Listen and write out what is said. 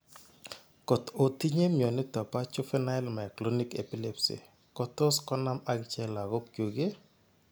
Kot otinye mioniton po juvenile myoclonic epilepsy kotos konam agichek logogyuk iih?